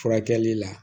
Furakɛli la